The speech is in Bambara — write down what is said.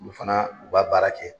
Mun fana u b'a baara kɛ.